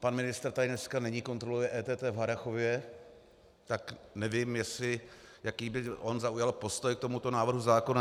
Pan ministr tady dneska není, kontroluje EET v Harrachově, tak nevím, jaký by on zaujal postoj k tomuto návrhu zákona.